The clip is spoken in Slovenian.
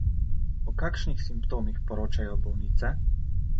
O kakšnih simptomih poročajo bolnice?